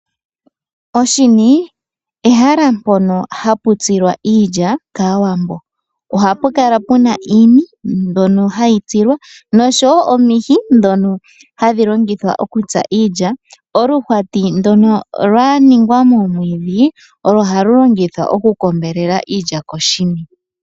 Oshini ehala mpoka hapu tsilwa iilya kaawambo, ohapu kala puna iini mbyoka hayi tsilwa osho wo omihi ndhoka hadhi longithwa okutsa iilya. Oluhwati ndoka lwaningwa momwiidhi olwo halu longithwa okukombelela iilya koshini.